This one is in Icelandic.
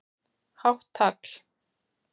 Hátt tagl